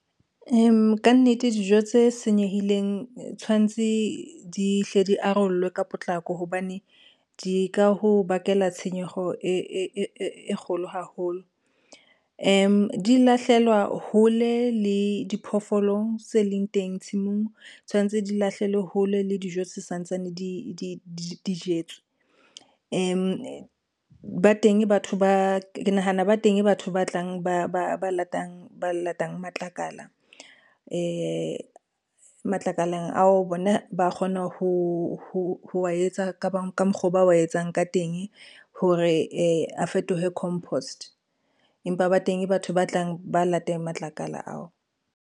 Ka nnete dijo tse senyehileng tshwantse di hle di arollwe ka potlako hobane di ka ho bakela tshenyeho e kgolo haholo. Di lahlehelwa hole le diphoofolo tse leng teng tshimong, tshwanetse di lahlehelwe hole le dijo se santsane di jetswe. Ke nahana ba teng batho ba tlang ba latang matlakala , matlakaleng ao bona ba kgona ho wa etsa ka mokgwa ba wa etsang ka teng hore a fetohe compost, empa ba teng batho ba tlang ba lateng matlakala ao.